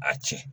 A tiɲɛ